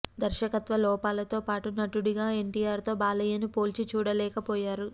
దర్శకత్వ లోపాలతో పాటు నటుడిగా ఎన్టీఆర్ తో బాలయ్యను పోల్చి చూడలేకపోయారు